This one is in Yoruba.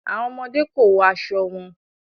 Awọn ọmọde ko wọ aṣọ wọn